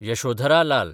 Yashodhara Lal